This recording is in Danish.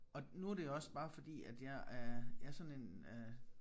Og nu det også bare fordi at jeg er jeg sådan en øh